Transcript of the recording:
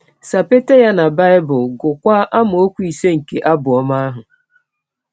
Sapeta ya na um Bible um, gụọkwa amaọkwu ise nke abụ ọma ahụ.